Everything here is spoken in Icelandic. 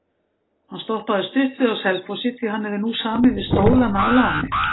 Hann stoppaði stutt við á Selfossi því hann hefur nú samið við Stólana á láni.